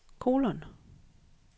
kolon